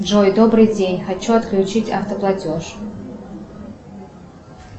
джой добрый день хочу отключить автоплатеж